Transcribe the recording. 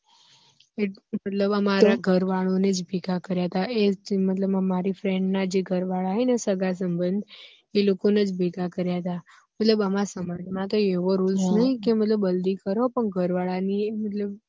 એટલે મારા ઘર વાળા ને જ ભેગા કાર્ય હતા મતલબ મારી friend ના જે ઘર વાળા હે ને સગાસબંદ એ લોકો ને જ ભેગા કાર્ય હતા મતલબ અમારા સમાજ માં તો આવો કઈ rule નહિ કે હલ્દી કરો પણ ઘર વાળા ની